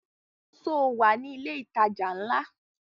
Sọ wà ní ilẹ̀ ìtajà ńlá?